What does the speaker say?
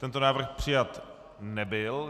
Tento návrh přijat nebyl.